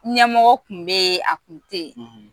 Ɲɛmɔgɔ kun be yen a kun te yen